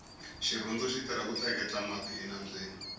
xirhundu xitirha ku tleketla mati enambyeni